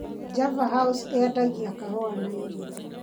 Java House yendagia kahũa na irio.